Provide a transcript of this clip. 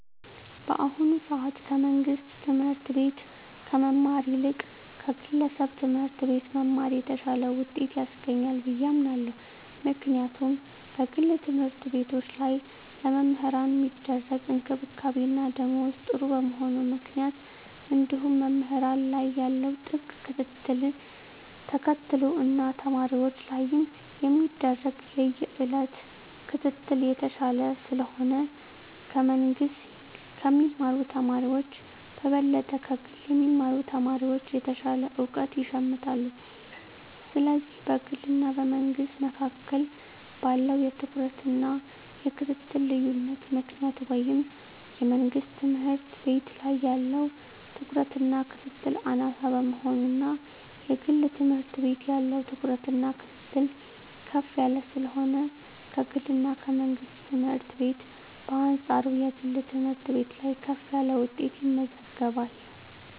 በአሁኑ ሰአት ከመንግስት ትምህርት ቤት ከመማር ይልቅ ከግለሰብ ትምህርት ቤት መማር የተሻለ ውጤት ያስገኛል ብየ አምናለው ምክንያቱም በግል ተምህርትቤቶች ላይ ለመምህራን ሚደረግ እንክብካቤና ደሞዝ ጥሩ በመሆኑ ምክንያት እንዲሁም መምህራን ላይ ያለው ጥብቅ ክትትልን ተከትሎ እና ተማሪወች ላይም የሚደረግ የየእለት ክትትል የተሻለ ስለሆነ ከመንግስ ከሚማሩ ተማሪወች በበለጠ ከግል የሚማሩ ተማሪወች የተሻለ እውቀት ይሸምታሉ ስለዚህ በግልና በመንግስ መካከል ባለው የትኩረትና የክትትል ልዮነት ምክንያት ወይም የመንግስት ትምህርት ቤት ላይ ያለው ትኩረትና ክትትል አናሳ በመሆኑና የግል ትምህርት ቤት ያለው ትኩረትና ክትትል ከፍ ያለ ስለሆነ ከግልና ከመንግስት ትምህርት ቤት በአንጻሩ የግል ትምህርት ቤት ላይ ከፍ ያለ ውጤት ይመዘገባል።